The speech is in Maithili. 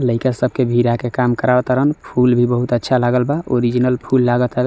लईका सबके भिड़ा के काम करवात तारण फूल भी बहुत अच्छा लागल वा ओरिजिनल फुल लागत हवे ।